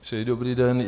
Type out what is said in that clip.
Přeji dobrý den.